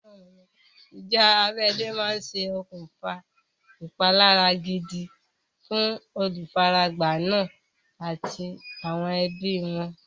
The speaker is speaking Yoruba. Ìjà abẹ́lé máa ṣe okùnfà ìpalára gidi fún olùfaragbá náà àti àwọn ẹbí wọn.